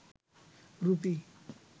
rupee